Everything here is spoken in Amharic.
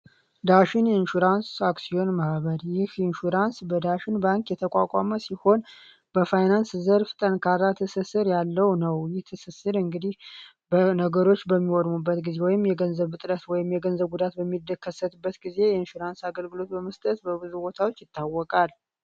ዳሽን ኢንሹራንስ አክሲዮን ማህበር ኢንሹራንስ በዳሽን የተቋቋመ ሲሆን በፋይናንስ ዘርፍ ጠንካራ ትስስር ያለው ነው ይህ ትስስር እንግዲህ ነገሮች በሚወድቁም በሚወድሙበት ጊዜ የገንዘብ እጥረት በሚከሰትበት ጊዜ የኢንሹራንስ አገልግሎት በመስጠት በብዙ ቦታዎች ይታወቃል።